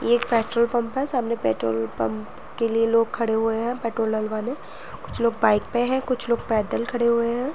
ये एक petrol pump है। सामने पेट्रोल पंप के लिए लोग खड़े हुए हैं पेट्रोल डलवाने। कुछ लोग बाइक पे है कुछ लोग पैदल खड़े हुए हैं।